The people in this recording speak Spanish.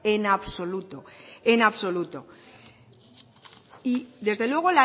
en absoluto en absoluto y desde luego